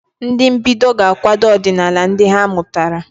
Ndị mbido ga-akwado ọdịnala ndị ha mụtara.